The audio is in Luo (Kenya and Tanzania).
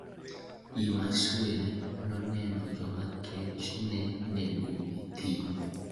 Imasuen noneno joma kech ne nego e thim: